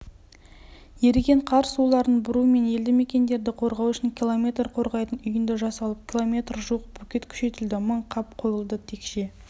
еріген қар суларын бұру мен елді мекендерді қорғау үшін км қорғайтын үйінді жасалып км жуық бөкет күшейтілді мың қап қойылды текше